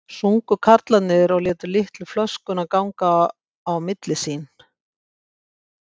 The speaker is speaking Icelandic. sungu karlarnir og létu litlu flöskuna ganga á milli sín.